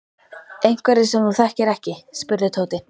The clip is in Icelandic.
Einhverjir sem þú þekkir ekki? spurði Tóti.